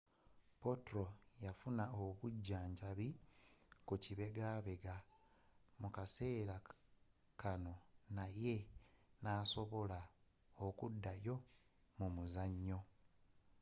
potro yafuna obujjanjabi ku kibegabega mu kaseera kanno naye nasobola okuddayo mu muzanyo